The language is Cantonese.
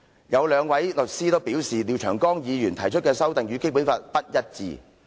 有兩名律師都表示，廖長江議員提出的修正案，與《基本法》不一致。